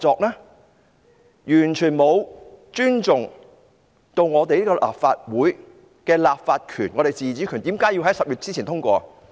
政府完全沒有尊重立法會的立法權和自主權，為何要在10月前通過？